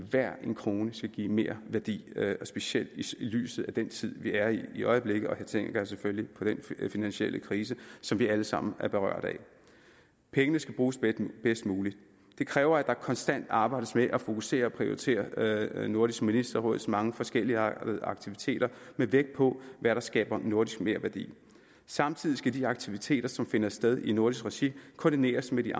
hver en krone skal give merværdi specielt i lyset af den tid vi er i øjeblikket og her tænker jeg selvfølgelig på den finansielle krise som vi alle sammen er berørt af pengene skal bruges bedst muligt det kræver at der konstant arbejdes med at fokusere og prioritere nordisk ministerråds mange forskelligartede aktiviteter med vægt på hvad der skaber nordisk merværdi samtidig skal de aktiviteter som finder sted i nordisk regi koordineres med de